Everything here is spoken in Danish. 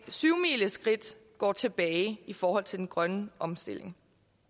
syvmileskridt går tilbage i forhold til den grønne omstilling